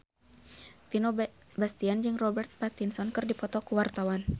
Vino Bastian jeung Robert Pattinson keur dipoto ku wartawan